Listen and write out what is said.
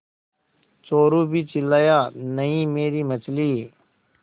चोरु भी चिल्लाया नहींमेरी मछली